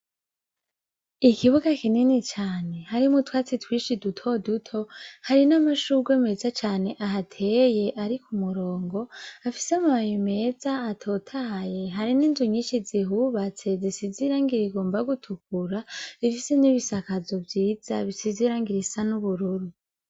Ikibuga kinini cane harimwo utwatsi twinshi duto duto, hari n'amashugwe meza cane ahateye, ari ku murongo afise amababi meza atotahaye, hari n'inzu nyinshi zihubatse zisize irangi rigomba gutukura, zifise n'ibisakazo vyiza bisize irangi risa n'ubururu.